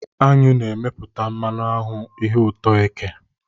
Aṅụ na-emepụta mmanụ aṅụ, ihe ụtọ eke.